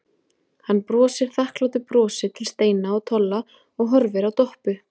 Hann brosir þakklátu brosi til Steina og Tolla og horfir á Doppu.